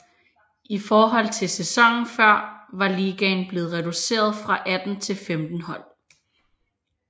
I forhold til sæsonen før var ligaen blevet reduceret fra 18 til 15 hold